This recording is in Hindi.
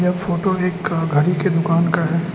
फोटो एक का घड़ी के दुकान का है।